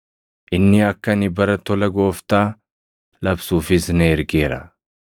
inni akka ani bara tola Gooftaa labsuufis na ergeera.” + 4:19 \+xt Isa 61:1,2\+xt*